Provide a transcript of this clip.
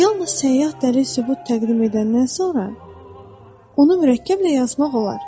Yalnız səyyah dəlil sübut təqdim edəndən sonra onu mürəkkəblə yazmaq olar.